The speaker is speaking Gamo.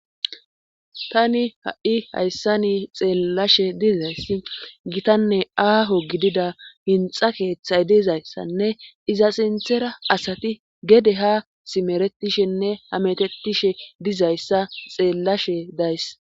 Tani ha'i hayssani xeellashe dizayss gitanne aaho gidida hinxa keeththay dizayssanne iza sinthera asati gede ha simeretishenne hametetishe dizayssa xeellashe days.